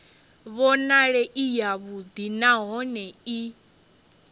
vhonale i yavhuḓi nahone i